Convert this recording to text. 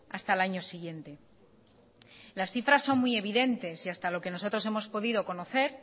hasta el año siguiente las cifras son muy evidentes y hasta lo que nosotros hemos podido conocer